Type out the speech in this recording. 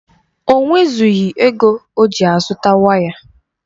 O nwezụghi ego oji azụta waya